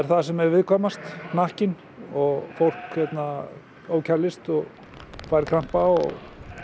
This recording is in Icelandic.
það sem er viðkvæmast hnakkinn og fólk ofkælist og fær krampa og